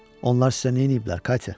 Onlar sizə neyniyiblər Katya?